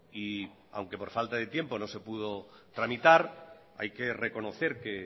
y aunque por falta de tiempo no se puedo tramitar hay que reconocer que